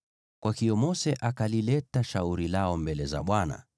Kwa hiyo Mose akalileta shauri lao mbele za Bwana ,